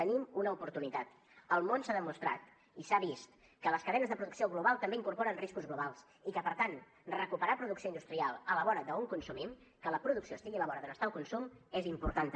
tenim una oportunitat al món s’ha demostrat i s’ha vist que les cadenes de producció global també incorporen riscos globals i que per tant recuperar producció industrial a la vora d’on consumim que la producció estigui a la vora d’on està el consum és important també